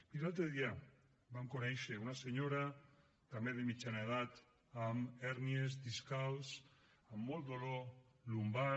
miri l’altre dia vam conèixer una senyora també de mitjana edat amb hèrnies discals amb molt dolor lumbar